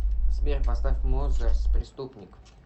сбер поставь мозерр преступник